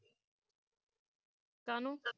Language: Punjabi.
ਕਾਹਨੂੰ